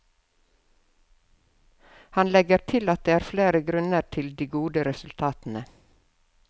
Han legger til at det er flere grunner til de gode resultatene.